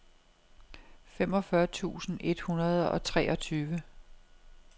femogfyrre tusind et hundrede og treogtyve